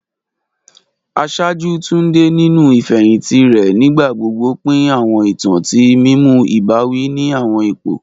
Aṣáájú Tunde, ninu ifehinti rẹ, nigbagbogbo pin awọn itan ti mimu ibawi ni awọn ipo.